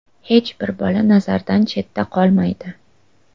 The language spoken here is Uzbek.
Hech bir bola nazardan chetda qolmaydi.